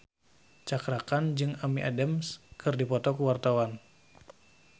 Cakra Khan jeung Amy Adams keur dipoto ku wartawan